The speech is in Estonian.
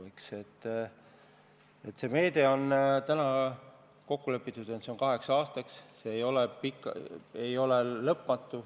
Selle meetme puhul on täna kokku lepitud, et see on kaheks aastaks, see ei ole pikk, ei ole lõpmatu.